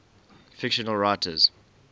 fictional writers